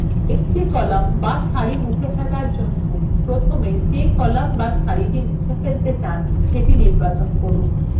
একটি একক column বা সারি মুছে ফেলার জন্য প্রথমে যে column বা সারিটি আপনি মুছে ফেলতে চান সেটি নির্বাচন করুন